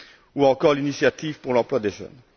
ou encore l'initiative pour l'emploi des jeunes.